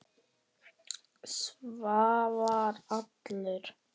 Svavar allur.